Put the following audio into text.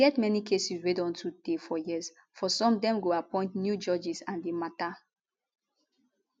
e get many cases wey don too tey for years for some dem go appoint new judges and di mata